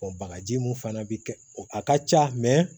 bagaji mun fana bi kɛ a ka ca